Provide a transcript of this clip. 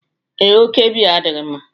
Ee, oke biya adịghị mma